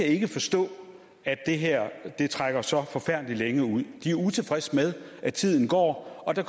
ikke kan forstå at det her trækker så længe ud de er utilfredse med at tiden går og at der